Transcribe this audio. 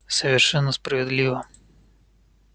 совершенно справедливо